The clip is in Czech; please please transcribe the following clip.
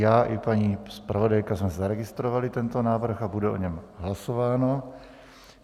Já i paní zpravodajka jsme zaregistrovali tento návrh a bude o něm hlasováno.